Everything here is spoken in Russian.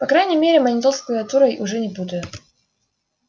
по крайней мере монитор с клавиатурой уже не путаю